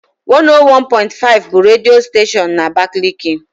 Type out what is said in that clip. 101.5 bụ redio steshoonu na abakaliki.